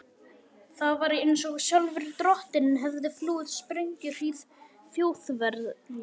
Það var einsog sjálfur drottinn hefði flúið sprengjuhríð Þjóðverja.